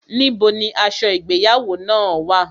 Níbo ni aṣọ ìgbéyàwó náà wà?